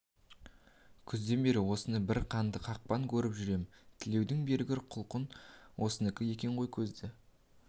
күзден бері осыны бір қанды қақпан көріп жүр ем тілеуің бергір құлқын осыныкі екен ғой көзді